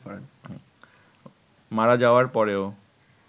মারা যাওয়ার পরেও